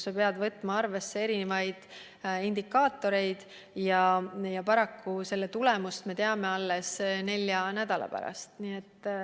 Sa pead võtma arvesse erinevaid indikaatoreid ja paraku oma otsuste tulemust me teame alles nelja nädala pärast.